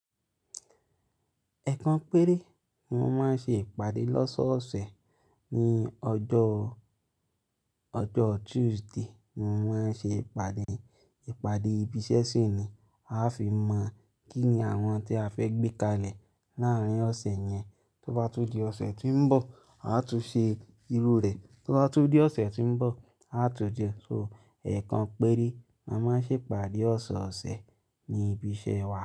Eekan péré, ni mo máa ń ṣe ìpàdé lọ́sọ̀ọ̀sẹ̀. Ni ọjọ́, ọjọ́ Tuesday ni mo máa ń ṣe ìpàdé. Ìpàdé ibi iṣẹ́ sì ni a fi máa mọ̀ kí ni àwọn tí a fẹ́ gbé kalẹ̀ láárín ọ̀sẹ̀ yẹn. Tó bá tun di ọ̀sẹ̀ tí ń bọ̀, a tún ṣe irú rẹ̀. To bá tun di ọ̀sẹ̀ tí ń bọ̀, a tún jẹ. So ẹ̀ekan péré, mo máa ń ṣe ìpàdé ọ́sọ̀ọ̀sẹ̀ ní ibi iṣẹ́ wa.